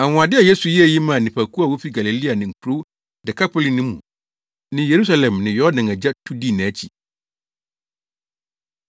Anwonwade a Yesu yɛɛ yi maa nnipakuw a wofi Galilea ne nkurow “Dekapoli” no mu ne Yerusalem ne Yordan agya tu dii nʼakyi.